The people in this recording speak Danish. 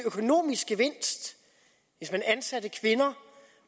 økonomisk gevinst hvis man ansatte kvinder